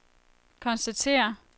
konstatere